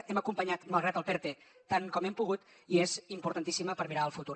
hem acompanyat malgrat el perte tant com hem pogut i és importantíssima per mirar el futur